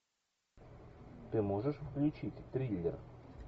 ты можешь включить триллер